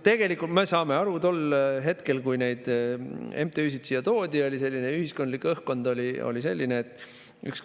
Tegelikult, me saame aru, tol hetkel, kui neid MTÜ-sid siia toodi, oli ühiskondlik õhkkond selline, et